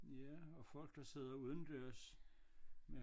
Ja og folk der sidder udendørs med